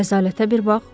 Rəzalətə bir bax!